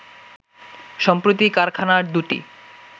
সম্প্রতি কারখানা দুটি